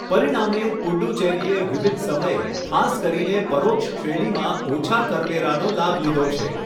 પરિણામે, પુડ્ડુચેરીએ વિવિધ સમયે, ખાસ કરીને પરોક્ષ શ્રેણીમાં ઓછા કરવેરાનો લાભ લીધો છે.